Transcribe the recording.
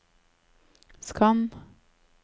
skann